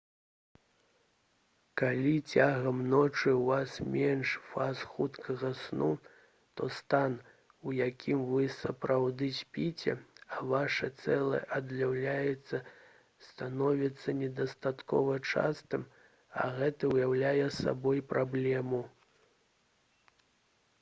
калі цягам ночы ў вас менш фаз хуткага сну то стан у якім вы сапраўды спіце а ваша цела аднаўляецца становіцца недастаткова частым а гэта ўяўляе сабой праблему